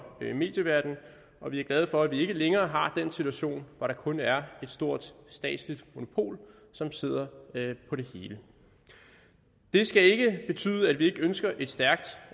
medieverdenen og vi er glade for at vi ikke længere har den situation hvor der kun er et stort statsligt monopol som sidder på det hele det skal ikke betyde at vi ikke ønsker et stærkt